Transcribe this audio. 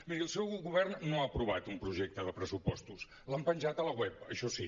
miri el seu govern no ha aprovat un projecte de pressupostos l’han penjat al web això sí